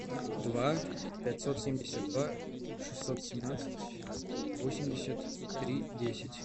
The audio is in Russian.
два пятьсот семьдесят два шестьсот семнадцать восемьдесят три десять